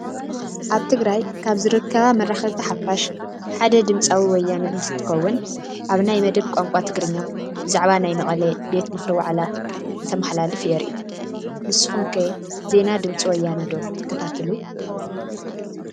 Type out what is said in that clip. ኣብ ትግራይ ካብ ዝርከባ መራኸብቲ ሓፋሽ ሓደ ድምፂ ወያነ እንትትከውን ኣብ ናይ መደብ ቋንቋ ትግርኛ ብዛዕባ ናይ መቐለ ቤት ምኽሪ ዋዕላ እንትመሓላለፍ የርኢ፡፡ ንስኹም ከ ዜና ድ/ወ ዶ ትከታተሉ?